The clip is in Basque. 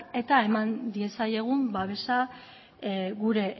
eta eman diezaiegun babesa gure